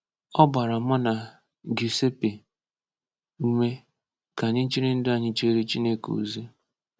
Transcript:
Ọ gbara mụ na Giuseppe ume ka anyị jiri ndụ anyị jeere Chineke ozi.